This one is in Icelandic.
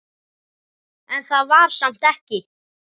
En það var samt ekki.